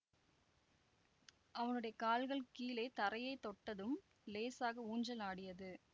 அவனுடைய கால்கள் கீழே தரையை தொட்டதும் லேசாக ஊஞ்சல் ஆடியது